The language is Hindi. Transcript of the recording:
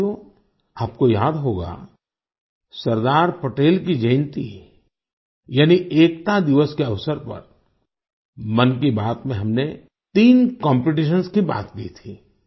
साथियो आपको याद होगा सरदार पटेल की जयन्ती यानी एकता दिवस के अवसर पर मन की बात में हमने तीन कॉम्पिटिशंस की बात की थी